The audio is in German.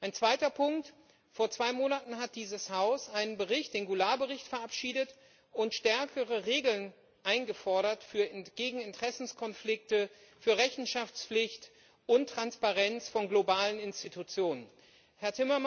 Ein zweiter Punkt Vor zwei Monaten hat dieses Haus einen Bericht, den Goulard Bericht, verabschiedet und stärkere Regeln gegen Interessenkonflikte, für Rechenschaftspflicht und Transparenz von globalen Institutionen eingefordert.